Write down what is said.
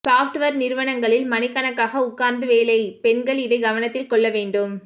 software நிறுவனங்களில் மணிக்கணக்காக உட்கார்ந்து வேலை பெண்கள் இதை கவனத்தில் கொள்ள வேண்டும்